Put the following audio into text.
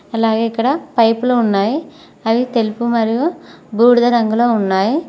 అలాగే ఇక్కడ పైపులు ఉన్నాయి అవి తెలుపు మరియు బూడిద రంగులో ఉన్నాయ్.